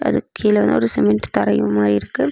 அதுக்கு கீழ வந்து ஒரு சிமெண்ட் தரையுமா இருக்கு.